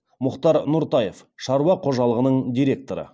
мұхтар нұртаев шаруа қожалығының директоры